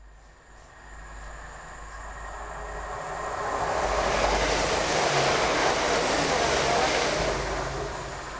wa berne mulanga wa berne